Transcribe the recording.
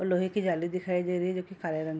और लोहे की जाली दिखाई दे रही जो की काले रंग --